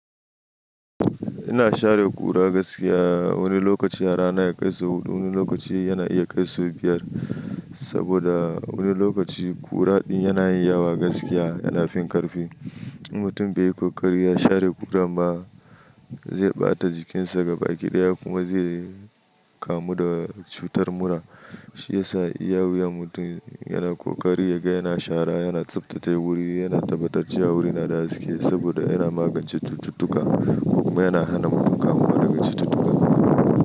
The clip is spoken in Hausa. Ina share ƙura gaskiya wani lokaci a rana ya kai sau huɗu, wani lokaci yana iya kai sau biyar. Saboda wani lokaci ƙura din yana yi yawa gaskiya, yana fin karfi. Mutum bai yi kokari ya share ƙura ba zai ɓata jikinsa ga baki ɗaya kuma zai kamu da cutar mura. Shi ya sa iya wuya mutum yana kokari ya ga yana shara, yana tsaftace wuri, yana tabbatar cewa wurina da gaske saboda yana magance cututtuka kuma yana hana mutum kamuwa daga cututtuka.